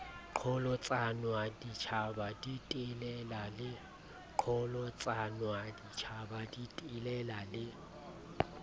qholotsanwa ditjhaba di telela le